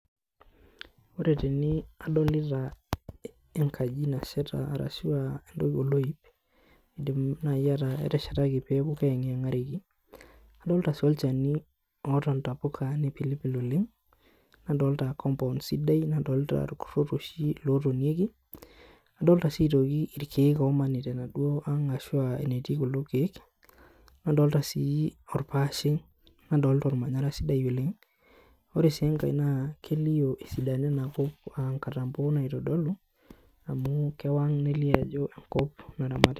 Ore tene adolita enkaji nasheta arashu aa entoki oloip, iidim nai ataa eteshetaki pee eeng'enkareki. Adolta sii olchani oata intapuka nipilpil oleng', nadolta compound sidai, nadolta irkuror oshi lootonyieki, adolta sii aitoki irkeek oshi loomanita enaduo aang' ashu aa enetii kuldo keek, nadolta sii orpaashe, nadolta ormanyara sidai oleng'. Ore sii enkae naa kelio esidano ina kop aa inkatambo naitodolu amu kewang' nelio ajo enkop naramata.